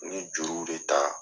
N ye juru de ta.